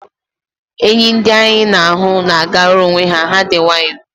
Enyi ndị anyị na-ahụ na-agara onwe ha, ha dị nwayọ